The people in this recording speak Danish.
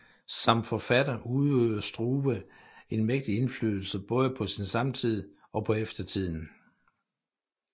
Som forfatter udøvede Struve en mægtig indflydelse både på sin samtid og på eftertiden